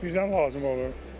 Birdən lazım olur.